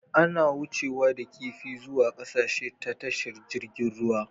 Ana wucewa da kifi zuwa ƙasashe ta tashar jirgin ruwa